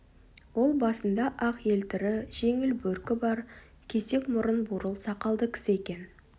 ол басында ақ елтірі жеңіл бөркі бар кесек мұрын бурыл сақалды кісі екен